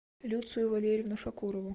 люцию валерьевну шакурову